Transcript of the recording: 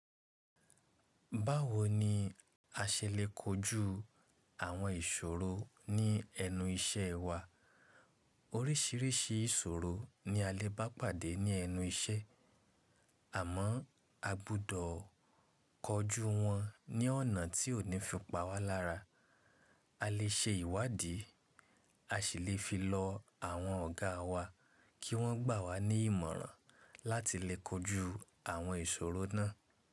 Báwoni a ṣe lè kojú àwọn ìṣòro ní ẹnu iṣẹ́ wa? Oríṣiríṣi ìṣòro ni a lè bá pàdé ní ẹnu iṣẹ́ àmọ́ agbọ́dọ̀ kojú wọn ní ọ̀nà tí ó ní fi pa wá lára. A lè ṣe ìwádìí, a sì lè fi lọ àwọn ọ̀gá wa kí wọ́n gbà wá ní ìmọ̀ràn láti lè kojú àwọn ìṣòro náà.